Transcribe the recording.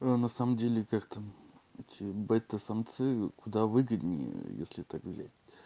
а на самом деле как там бета самцы куда выгоднее если так взять